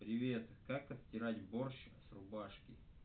привет как отстирать борщ с рубашки